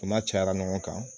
U na cayara ɲɔgɔn kan